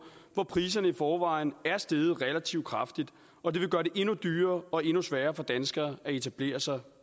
hvor priserne i forvejen er steget relativt kraftigt og det vil gøre det endnu dyrere og endnu sværere for danskere at etablere sig